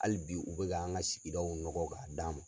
Hali bi u bɛ k'an ka sigidaw nɔgɔ k'a d'a ma.